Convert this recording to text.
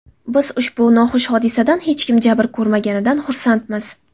Biz ushbu noxush hodisadan hech kim jabr ko‘rmaganidan xursandmiz.